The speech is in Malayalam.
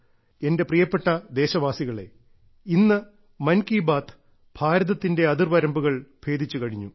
എന്റെ പ്രിയപ്പെട്ട ദേശവാസികകളെ ഇന്ന് മൻകി ബാത്ത് ഭാരതത്തിന്റെ അതിർവരമ്പുകൾ ഭേദിച്ചു കഴിഞ്ഞു